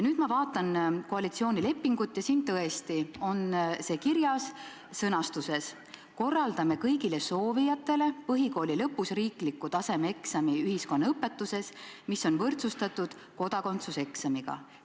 Nüüd ma vaatan koalitsioonilepingut ja siin on see tõesti kirjas, sõnastuses "Korraldame kõigile soovijatele põhikooli lõpus riikliku tasemeeksami ühiskonnaõpetuses, mis on võrdsustatud kodakondsuseksamiga".